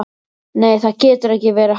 Nei, það getur ekki verið hann.